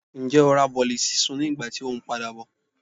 njẹ o ra bolí sisún ní ìgbà tí o n padabọ?